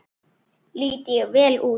Lít ég vel út?